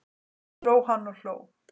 Svo hló hann og hló.